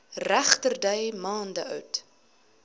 regterdy maande oud